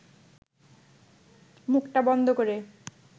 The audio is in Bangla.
মুখটা বন্ধ করে